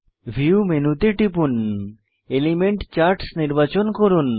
view মেনুতে টিপুন element charts নির্বাচন করুন